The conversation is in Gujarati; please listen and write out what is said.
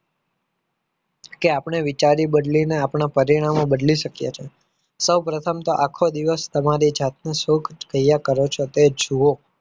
કે આપણે વિચારી બદલીને આપણો પરિણામ બદલી શકીએ છીએ સૌ પ્રથમ તો આખો દિવસ તમારી જાતનું શુ ક્રિયા કરો છો તે જુઓ